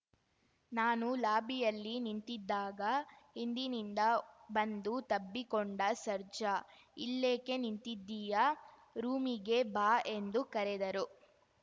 ನಾನು ಲಾಬಿಯಲ್ಲಿ ನಿಂತಿದ್ದಾಗ ಹಿಂದಿನಿಂದ ಬಂದು ತಬ್ಬಿಕೊಂಡ ಸರ್ಜಾ ಇಲ್ಲೇಕೆ ನಿಂತಿದ್ದೀಯಾ ರೂಮಿಗೆ ಬಾ ಎಂದು ಕರೆದರು